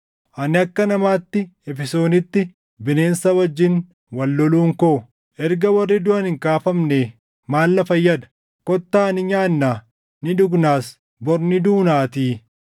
Ani akka namaatti Efesoonitti bineensa wajjin wal loluun koo, erga warri duʼan hin kaafamnee, maal na fayyada? “Kottaa ni nyaannaa; ni dhugnas; bor ni duunaatii.” + 15:32 \+xt Isa 22:13\+xt*